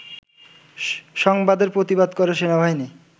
সংবাদের প্রতিবাদ করে সেনাবাহিনী